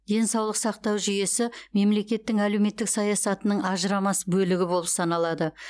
денсаулық сақтау жүйесі мемлекеттің әлеуметтік саясатының ажырамас бөлігі болып саналады